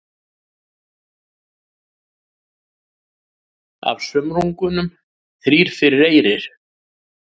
Af sumrungum þrír fyrir eyri.